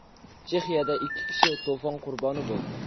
Chexiyada ikki kishi to‘fon qurboni bo‘ldi.